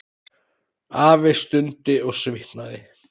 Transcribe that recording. Afi stundi og svitnaði.